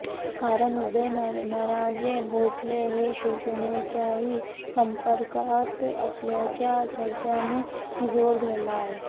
कारण उदयनराजे भोसले हे शिवसेनेच्याही संपर्कात असल्याच्या चर्चांनी जोर धरला आहे